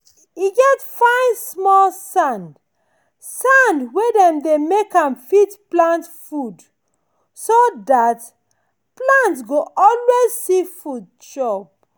e get fine small sand sand wey dey make am fit keep plant food so that plant go always see food to chop.